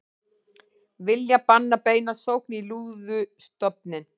Vilja banna beina sókn í lúðustofninn